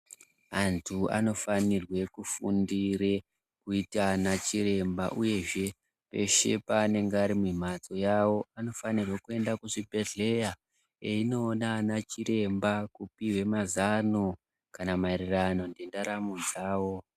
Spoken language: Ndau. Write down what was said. Antu anofanirwe kufundire kuita ana chiremba uyezve peshe panenge ari mumhatso yavo avo anofanirwe kuenda kuchibhehleya eindoona ana chiremba kupiwe mazano kana maererano nendaramo dzawo.